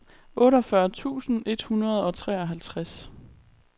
otteogfyrre tusind et hundrede og treoghalvtreds